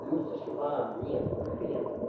плюс ещё аа нет вот хрен им